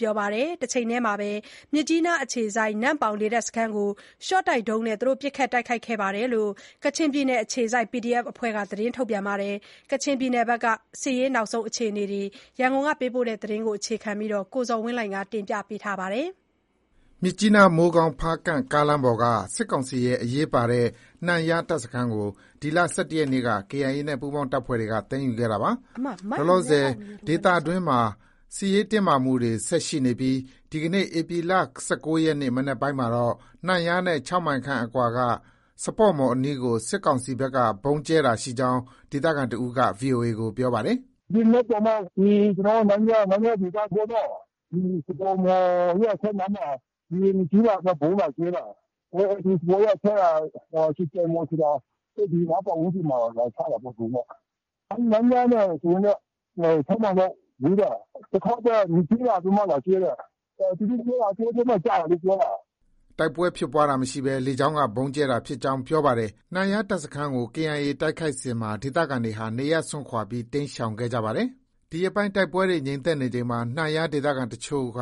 ပြောပါတယ်။ တချိန်တည်းမှာပဲ မြစ်ကြီးနားအခြေစိုက် နမ့်ပေါင် လေတပ်စခန်းကို ရှော့တိုက်ဒုံးနဲ့ ပစ်ခတ်တိုက်ခိုက်ခဲ့ကြောင်း ကချင်ပြည်နယ်အခြေစိုက် PDF အဖွဲ့က သတင်းထုတ်ပြန်ထားပါတယ်။ ကချင်ပြည်နယ်က နောက်ဆုံးအခြေအနေတွေအကြောင်း ရန်ကုန်ကပေးပို့တဲ့သတင်းကို အခြေခံပြီး ကိုဇော်ဝင်းလှိုင်က တင်ပြထားပါတယ်။ မြစ်ကြီးနား-မိုးကောင်း-ဖားကန့် ကားလမ်းပေါ်က စစ်ကောင်စီရဲ့ အရေးပါတဲ့ နန့်ယား တပ်စခန်းကို ဒီလ ၁၁ရက်နေ့က KIA နဲ့ ပူးပေါင်း တပ်ဖွဲ့တွေက သိမ်းယူခဲ့တာပါ။ လောလောဆယ် ဒေသတွင်းမှာ စစ်ရေးတင်းမာမှုတွေ ဆက်ရှိနေပြီး ဒီနေ့ ဧပြီလ ၁၉ ရက်နေ့ မနက်ပိုင်းမှာတော့ နန့်ယားနဲ့ ၆ မိုင်ခန့်အကွာက စပေါ့မှော် အနီးကို စစ်ကောင်စီဘက်က ဗုံးကြဲတာရှိကြောင်း ဒေသခံတဦးက VOA ကို ပြောပါတယ်။ “ ဒီမနက်တောင်မှ ကျနော်တို့ နန့်ယား၊ နန့်ယားဒေသပေါ့နော်၊ စပေါ့မှော်ရဲ့ အထက်နားမှာ လေယာဉ် ၂စီး လာပြီးမှ ဗုံးလာကြဲတာ။ စပေါ့ရဲ့ အထက်က ဆွတ်ကြိုင်မှော်ဆိုတာ။ အဲဒီနားပတ်ဝန်းကျင်မှာ လာချတာပေါ့ ဗုံးနဲ့။ နန့်ယားနဲ့ဆိုရင်တော့ ၆မိုင်လောက် ဝေးတာ။ တခေါက်ပဲ ၂စီးလာပြီးမှ လာကြဲတာ။ သူတို့ပြောတာ တောထဲမှာ ကျတယ်လို့ ပြောတာ။” တိုက်ပွဲဖြစ်ပွားတာမရှိဘဲ လေကြောင်းက ဗုံးကြဲတာဖြစ်ကြောင်း ပြောပါတယ်။ နန့်ယားတပ်စခန်းကို KIA ကို တိုက်ခိုက်စဉ်မှာ ဒေသခံတွေဟာ နေရပ်စွန့်ခွာပြီး တိမ်းရှောင်ခဲ့ကြပါတယ်။ ဒီရက်ပိုင်း တိုက်ပွဲတွေ ငြိမ်သက်ချိန်မှာ နန့်ယားဒေသခံအချို့က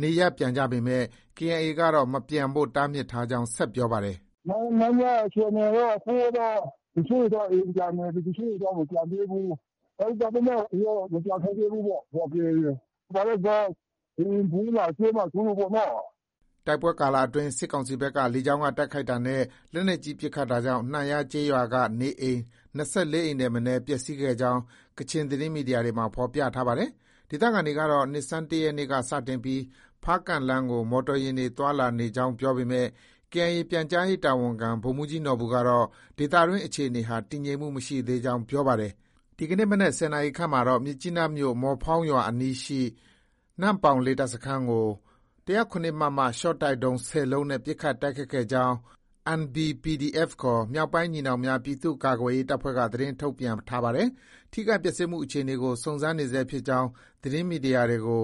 နေရပ်ပြန်ကြပေမဲ့ KIA ကတော့ မပြန်ဖို့ တားမြစ်ထားကြောင်း ဆက်ပြောပါတယ်။ “နန့်ယားအခြေအနေတော့ တချို့တွေတော့ အိမ်ပြန်နေပြီ။ တချို့တွေတော့ မပြန်သေးဘူး။ ဒါပေမဲ့ မပြန်ခိုင်းသေးဘူးပေါ့၊ KIA က။ ဘာလို့လဲဆိုတော့ လေယာဉ် ဗုံးလာကြဲမှာ စိုးလို့ပေါ့နော်။” တိုက်ပွဲကာလအတွင်း စစ်ကောင်စီဘက်က လေကြောင်းက တိုက်ခိုက်တာနဲ့ လက်နက်ကြီး ပစ်ခတ်တာကြောင့် နန့်ယားကျေးရွာက နေအိမ် ၂၄ အိမ်ထက်မနည်း ပျက်ဆီးခဲ့ကြောင်း ကချင်သတင်းမီဒီယာတွေမှာ ဖော်ပြထားပါတယ်။ ဒေသခံတွေကတော့ နှစ်ဆန်းတရက်နေ့ကစတင်ပြီး ဖားကန့်လမ်းကို မော်တော်ယာဉ်တွေ သွားလာနေကြောင်း ပြောပေမဲ့ KIA ပြန်ကြားရေးတာဝန်ခံ ဗိုလ်မှုးကြီးနော်ဘူကတော့ ဒေသတွင်းအခြေအနေဟာ တည်ငြိမ်မှုမရှိသေးကြောင်း ပြောပါတယ်။ ဒီကနေ့ မနက် ၁၀နာရီခန့်မှာတော့ မြစ်ကြီးနားမြို့ မော်ဖောင်းရွာအနီးရှိ နမ့်ပေါင်လေတပ်စခန်းကို ၁၀၇ မမ ရှော့တိုက်ဒုံး ၁၀လုံး နဲ့ ပစ်ခတ်တိုက်ခိုက်ခဲ့ကြောင်း NBPDF ခေါ် မြောက်ပိုင်းညီနောင်များ ပြည်သူ့ကာကွယ်ရေးတပ်ဖွဲ့က သတင်းထုတ်ပြန် ထားပါတယ်။ ထိခိုက် ပျက်ဆီးမှုအခြေအနေကို စုံစမ်းနေဆဲဖြစ်ကြောင်း သတင်းမီဒီယာတွေကို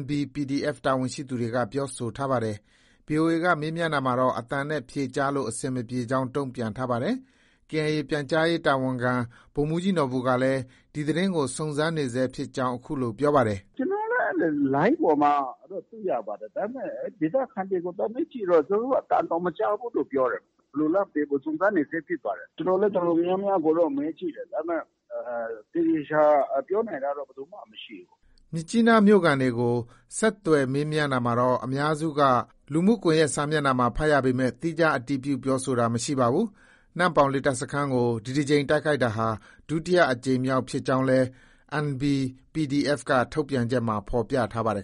NBPDF တာဝန်ရှိသူက ပြောဆိုထားပါတယ်။ VOA က မေးမြန်းရာမှာ အသံနဲ့ ဖြေကြားဖို့ အဆင်မပြေကြောင်း တုံ့ပြန်ပါတယ်။ KIA ပြန်ကြားရေးတာဝန်ခံ ဗိုလ်မှုးကြီးနော်ဘူကလည်း ဒီသတင်းကို စုံစမ်းနေဆဲဖြစ်ကြောင်း အခုလို ပြောပါတယ်။ “ ကျနော်လည်း အဲလို လိုင်းပေါ်မှာတော့ တွေ့ရပါတယ်။ ဒါပေမဲ့ ဒေသခံတွေကို သွားမေးကြည့်တော့ သူတို့ အသံတောင် မကြားဘူးလို့ ပြောတယ်။ ဘယ်လိုလဲ မသိဘူး။ စုံစမ်းနေဆဲဖြစ်ပါတယ်။ ကျနော်လည်း တော်တော်များများကိုတော့ မေးကြည့်တယ်။ ဒါပေမဲ့ သေသေချာချာ ပြောနိုင်တာတော့ ဘယ်သူမှ မရှိဘူး။” မြစ်ကြီးနားမြို့ခံတွေကို ဆက်သွယ်မေးမြန်းရာမှာလည်း အများစုက လူမှုကွန်ရက်စာမျက်နှာမှာ ဖတ်ရပေမဲ့ သီးခြားအတည်ပြု ပြောဆိုတာ မရှိပါဘူး။ နမ့်ပေါင်လေတပ်စခန်းကို ဒီတကြိမ် တိုက်ခိုက်တာဟာ ဒုတိယအကြိမ်ဖြစ်ကြောင်းလည်း NBPDF က ထုတ်ပြန်ချက်မှာ ဖော်ပြထားပါတယ်